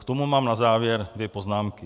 K tomu mám na závěr dvě poznámky.